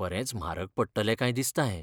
बरेंच म्हारग पडटलें काय दिसता हें.